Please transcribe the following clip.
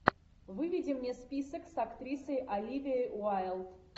выведи мне список с актрисой оливией уайлд